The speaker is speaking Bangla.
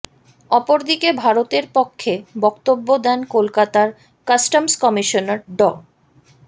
অপরদিকে ভারতের পক্ষে বক্তব্য দেন কলকাতার কাস্টমস কমিশনার ড